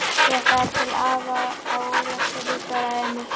Ég ætlaði til afa á Ólafsfirði, svaraði Emil.